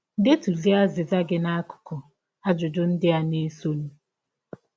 Detụzie azịza gị n’akụkụ ajụjụ ndị a na - esọnụ.